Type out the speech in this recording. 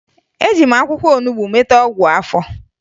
Eji m akwụkwọ olubo meta ọgwụ afọ